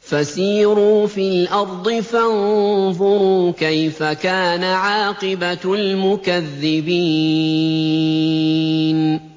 فَسِيرُوا فِي الْأَرْضِ فَانظُرُوا كَيْفَ كَانَ عَاقِبَةُ الْمُكَذِّبِينَ